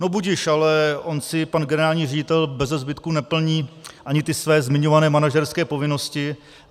No budiž, ale on si pan generální ředitel beze zbytku neplní ani ty své zmiňované manažerské povinnosti.